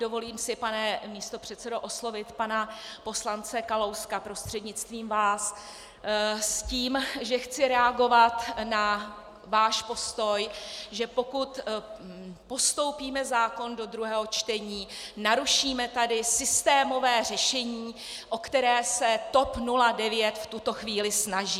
Dovolím si, pane místopředsedo, oslovit pana poslance Kalouska prostřednictvím vás s tím, že chci reagovat na váš postoj, že pokud postoupíme zákon do druhého čtení, narušíme tady systémové řešení, o které se TOP 09 v tuto chvíli snaží.